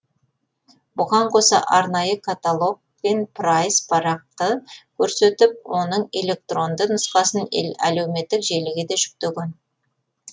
бұған қоса арнайы каталог пен прайс парақты көрсетіп оның электронды нұсқасын әлеуметтік желіге де жүктеген